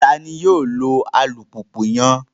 Tani yoo lo alupupu yẹn?